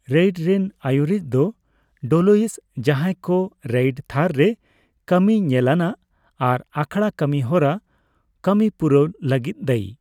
Raid ᱨᱮᱱ ᱟᱹᱭᱩᱨᱤᱡ ᱫᱚ ᱰᱞᱳᱭᱤᱥ, ᱡᱟᱦᱟᱭ ᱠᱚ ᱨᱮᱭᱤᱰ ᱛᱷᱟᱨ ᱨᱮ ᱠᱟᱹᱢᱤ ᱧᱮᱞᱟᱱᱟᱜ ᱟᱨ ᱟᱠᱷᱲᱟ ᱠᱟᱹᱢᱤ ᱦᱚᱨᱟ ᱠᱟᱹᱢᱤ ᱯᱩᱨᱟᱹᱣ ᱞᱟᱹᱜᱤᱫ ᱫᱟᱹᱭᱤ ᱾